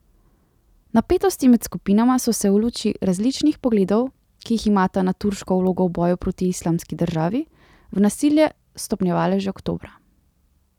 Napetosti med skupinama so se v luči različnih pogledov, ki jih imata na turško vlogo v boju proti Islamski državi, v nasilje stopnjevale že oktobra.